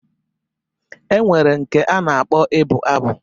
E nwere nke a na-akpọ ibụ abụ